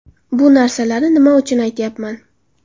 Bu narsalarni nima uchun aytyapman?